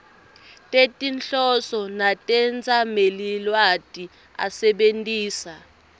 tetinhloso netetsamelilwati asebentisa